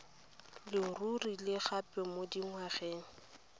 leruri le gape mo dingwgeng